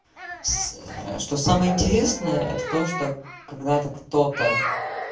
с что самое интересное это то что когда-то кто-то